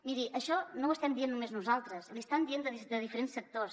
miri això no ho estem dient només nosaltres l’hi estan dient des de diferents sectors